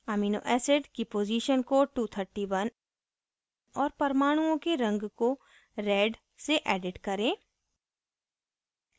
amino acid की position को 231 और परमाणुओं के रंग को red से edit करें